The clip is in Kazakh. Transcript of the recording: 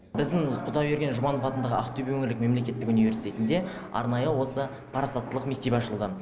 біздің құдайберген жұбанов атындағы ақтөбе өңірлік мемлекеттік университетінде арнайы осы парасаттылық мектебі ашылған